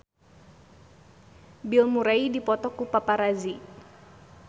Bill Murray dipoto ku paparazi